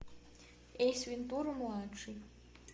эйс вентура младший